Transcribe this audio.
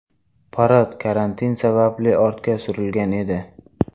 Parad karantin sababli ortga surilgan edi.